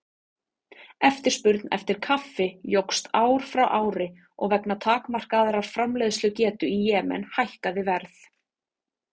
Eftirspurn eftir kaffi jókst ár frá ári og vegna takmarkaðrar framleiðslugetu í Jemen hækkaði verð.